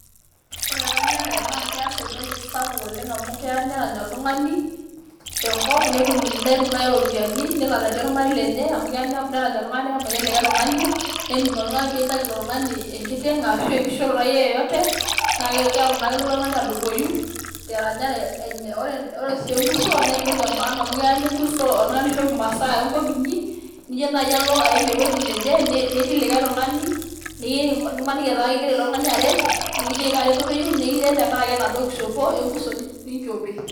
Ore eranyare naa keas entoki sapuk oleng' amu keya nerany oltung'ani tenkop netum nai iropiani nelo aretie ormarei lenye amu kea nerany olikai tung'ani nemayian likai tung'ani nening' ilo tung'ani pee itaki ilo tung'ani enkiteng' arashu enkishoroto akeyie yeyote naake kelo naa ilo tung'ani adupoyu teranyare enye. Ore sii enkuso naa entoki e maana amu keya nikuso oltung'ani aishop imasaa enkop inyi nijo nai alo aim ewoji neje nitil likai tung'ani nimaniki etaa king'ira ilo tung'ani aret nekijoki kaa reteto iyeu nikiret tenkaraki enaduo kishopo enkuso ninjope.